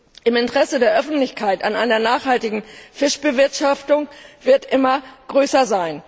Das Interesse der Öffentlichkeit an einer nachhaltigen Fischbewirtschaftung wird immer größer.